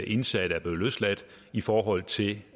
indsatte er blevet løsladt i forhold til